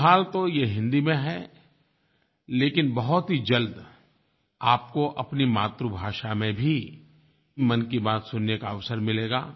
फ़िलहाल तो ये हिंदी में है लेकिन बहुत ही जल्द आपको अपनी मातृभाषा में भी मन की बात सुनने का अवसर मिलेगा